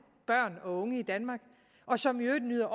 børn og unge i danmark og som i øvrigt nyder